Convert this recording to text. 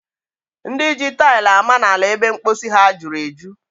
Ndị ji taili ama n'ala ebe mposi ha juru eju.